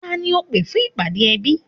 Tani ó pé fún ìpàdé ẹbí